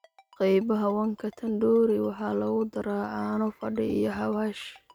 Qaybaha Wanka Tandoori waxaa lagu daraa caano fadhi iyo xawaash.